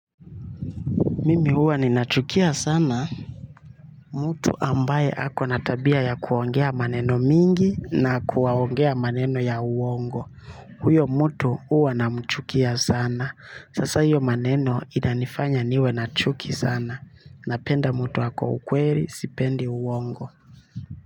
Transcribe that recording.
Mimi huwa ninachukia sana. Mtu ambaye ako na tabia ya kuongea maneno mingi na kuwaongea maneno ya uongo. Huyo mtu huwa namchukia sana. Sasa hiyo maneno inanifanya niwe na chuki sana. Napenda mtu ako ukweli sipendi uongo.